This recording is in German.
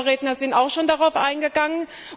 Meine Vorredner sind auch schon darauf eingegangen.